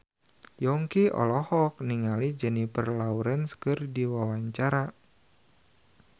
Yongki olohok ningali Jennifer Lawrence keur diwawancara